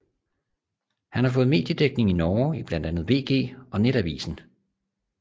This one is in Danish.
Han har fået mediedækning i Norge i blandt andet VG og Nettavisen